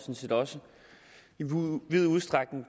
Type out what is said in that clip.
set også i vid udstrækning